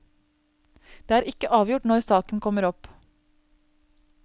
Det er ikke avgjort når saken kommer opp.